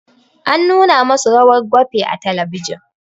An nuna ma su rawar gwafe a talabijin